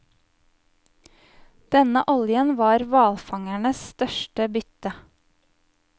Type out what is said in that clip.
Denne oljen var hvalfangernes største bytte.